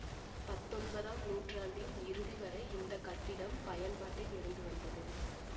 பத்தொன்பதாம் நூற்றாண்டின் இறுதி வரை இந்த கட்டிடம் பயன்பாட்டில் இருந்து வந்தது